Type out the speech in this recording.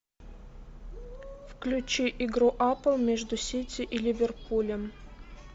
включи игру апл между сити и ливерпулем